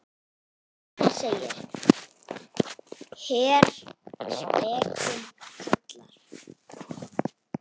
Þar segir: Heyr, spekin kallar.